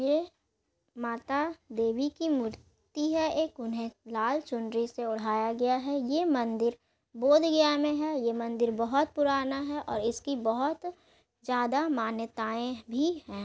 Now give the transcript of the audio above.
ये माता देवी की मूर्ति है एक उन्हैं लाल चुंदड़ी से उढ़ाया गया है ये मंदिर बौद्ध गया मे है ये मंदिर बहुत पुराना है और इसकी बहुत ज्यादा मान्यताये भी है।